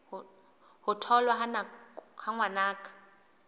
ho tholwa ha ngwana ka